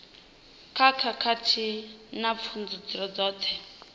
kha khakhathi na pfudzungule dzoṱhe